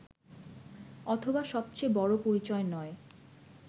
অথবা সবচেয়ে বড়ো পরিচয় নয়